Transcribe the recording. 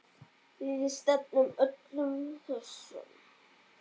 Við stefnum öllum þessum